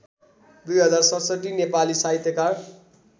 २०६७ नेपाली साहित्यकार